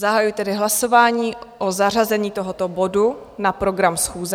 Zahajuji tedy hlasování o zařazení tohoto bodu na program schůze.